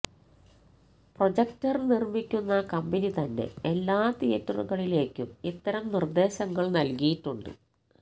projector നിർമിക്കുന്ന കമ്പനിതന്നെ എല്ലാ തിയേറ്ററുകളിലേക്കും ഇത്തരം നിർദേശങ്ങൾ നൽകിയിട്ടുണ്ട്